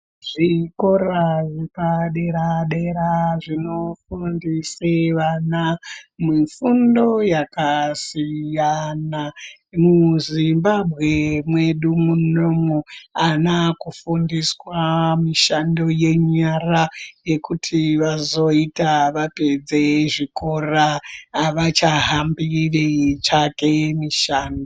Zvikora zvepa dera dera zvino fundise vana mufundo yakasiyana mu Zimbabwe mwedu munomu ana aku fundiswa mishando ye nyara yekuti vazoita vapedze zvikora avacha hambi vei tsvake mishando.